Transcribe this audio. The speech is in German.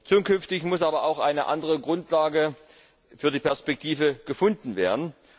Zukünftig muss aber auch eine andere Grundlage für die Perspektive gefunden werden.